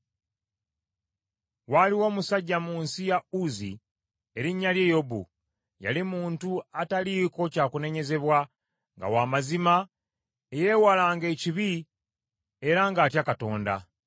Waaliwo omusajja mu nsi ya Uzzi erinnya lye Yobu; yali muntu ataliiko kya kunenyezebwa, nga wa mazima, eyeewalanga ekibi, era ng’atya Katonda.